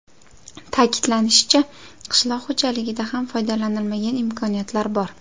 Ta’kidlanishicha, qishloq xo‘jaligida ham foydalanilmagan imkoniyatlar bor.